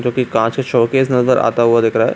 जो की काँच का शो-केस नजर आता हुआ दिख रहा है।